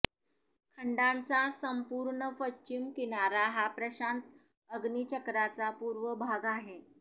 खंडाचा संपूर्ण पश्चिम किनारा हा प्रशांत अग्निचक्राचा पूर्व भाग आहे